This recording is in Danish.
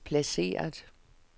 placeret